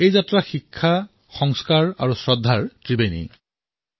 এই ৱাৰী শিক্ষা সংস্কাৰ আৰু শ্ৰদ্ধাৰ ত্ৰিৱেণী সংগম হয়